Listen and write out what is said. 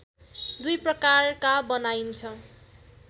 दुई प्रकारका बनाइन्छ